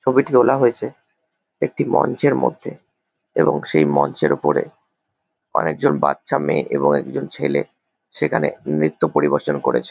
ছবিটি তোলা হয়েছে একটি মঞ্চের মধ্যে এবং সেই মঞ্চের ওপরে অনেক জন বাচ্চা মেয়ে এবং একজন ছেলে সেখানে নৃত্য পরিবেশন করেছে ।